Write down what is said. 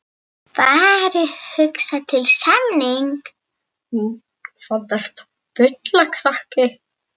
Varð hugsað til samningsins.